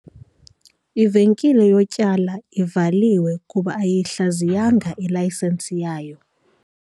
Ivenkile yotyala ivaliwe kuba ayiyihlaziyanga ilayisensi yayo.